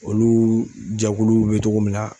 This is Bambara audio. Olu jɛkuluw be cogo min na